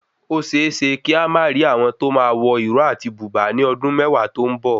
Ó séeésé kí a má rì àwọn tóo máa wọ ìró áti bùbáa ní ọdún mẹwàá to n bo